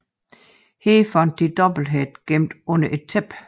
Her fandt de Doublehead gemt under et tæppe